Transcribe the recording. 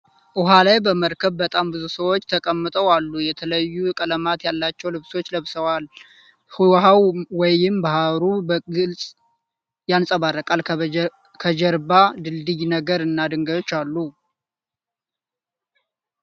ዉሃ ላይ በመርከብ በጣም ብዙ ሰዎች ተቀምጠው አሉ። የተለዩ ቀለማት ያላቸው ልብሶችን ለብሰዋል። ዉሀዉ ወይም ባህሩ በግልፅ ያንፀባርቃል። ከጀርባ ድልድይ ነገር እና ድንጋዮች አሉ።